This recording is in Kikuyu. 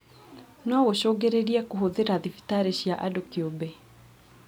Nogũcũngĩrĩrie kũhũthĩra thibitarĩ cia andũ kĩũmbe